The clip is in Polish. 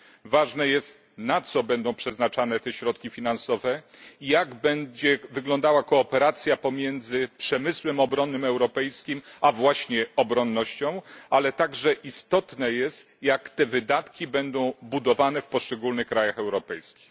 Ważne jest, na co będą przeznaczane te środki finansowe i jak będzie wyglądała kooperacja pomiędzy europejskim przemysłem obronnym, a właśnie obronnością, ale także istotne jest, jak te wydatki będą budowane w poszczególnych krajach europejskich.